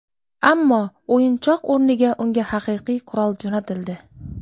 Ammo o‘yinchoq o‘rniga unga haqiqiy qurol jo‘natildi.